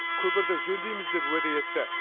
көпірді жөндейміз деп уәде етті